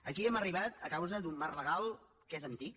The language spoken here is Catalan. aquí hi hem arribat a causa d’un marc legal que és antic